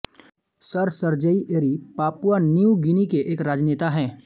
sir Serei Eri Papua New Guinea के एक राजनेता हैं